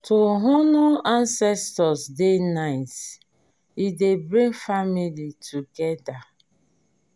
to honour ancestor dey nice e dey bring family together